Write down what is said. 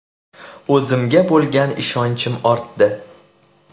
O‘zimga bo‘lgan ishonchim ortdi”.